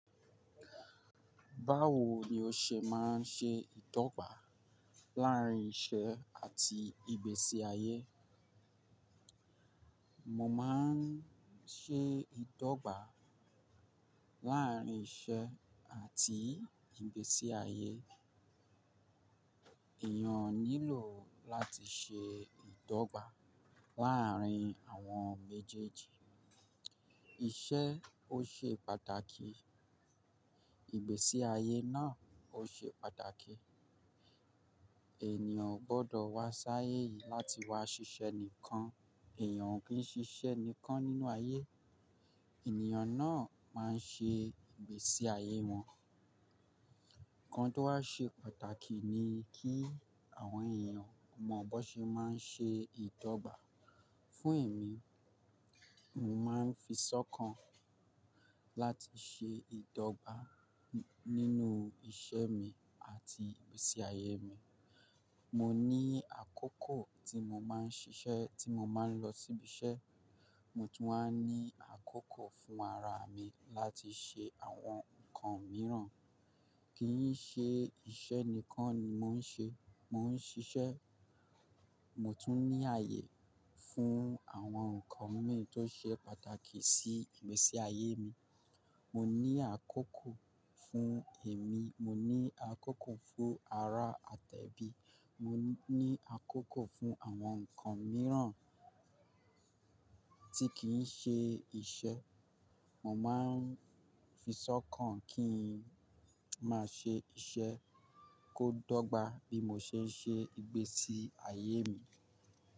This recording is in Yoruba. Báwo ni o ṣe máa ń ṣe ìdọ́gba láàárín iṣẹ́ àti ìgbésí ayé? Mo máa ń ṣe ìdọ́gba láàárín iṣẹ́ àti ìgbésí ayé. Ẹ̀yàn nílò láti ṣe ìdọ́gba láàárín àwọn méjèèjì. Iṣẹ́ ó ṣe pàtàkì, ìgbésí ayé náà ó ṣe pàtàkì. Ènìyàn ò gbọ́dọ̀ wá sáyé yìí láti wá ṣiṣẹ́ nìkan. Ẹ̀yàn ò kí ń ṣiṣẹ́ nìkan nínú ayé. Ènìyàn náà máa ń ṣe ìgbésí ayé wọn. Ǹkan tó wá ṣe pàtàkì ni kí àwọn èèyàn mọ bó ṣe máa ń ṣe ìdọ́gba. Fún èmi, mo máa ń fi sọ́kàn láti ṣe ìdọ́gba nínú iṣẹ́ mi àti ìgbésí ayé mi. Mo ní àkókò tí mo máa ń ṣiṣẹ́, tí mo máa ń lọ síbi iṣẹ́, mo tún máa ń ní àkókò fún ara mi láti ṣe àwọn ǹkan mìíràn. Kí n ṣe iṣẹ́ nìkan ni mò ń ṣe, mò ń ṣiṣẹ́, mo tún ní àyè fún àwọn ǹkan mìíràn tó ṣe pàtàkì sí ìgbésí ayé mi. Mo ní àkókò fún èmi, mo ní àkókò fún ara àtẹ́bí, mo ní àkókò fún àwọn ǹkan mìíràn tí kì í ṣe iṣẹ́. Mo máa ń fisọ́kàn kí n máa ṣe iṣẹ́, kó dọ́gba bí mo ṣe ń ṣe ìgbésí ayé mi.